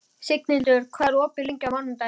Signhildur, hvað er opið lengi á mánudaginn?